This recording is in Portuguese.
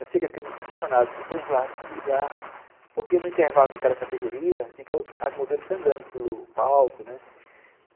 Eu sei que eu fiquei muito decepcionado, porque todo mundo falava, em primeiro lugar... Porque no intervalo de cada categoria, as modelos ficam andando pelo palco, né?